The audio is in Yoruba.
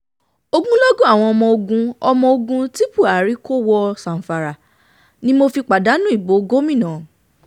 ogunlọ́gọ̀ àwọn ọmọ ogun ọmọ ogun ti buhari um kò wọ zamfara ni mo fi pàdánù ìbò gómìnà um